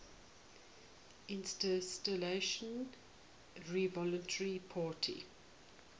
institutional revolutionary party